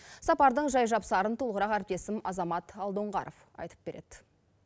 сапардың жай жапсарын толығырақ әріптесім азамат алдоңғаров айтып береді